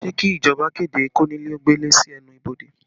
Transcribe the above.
Ṣé kí ìjọba kéde konile ó gbele sí ẹnu ibodè?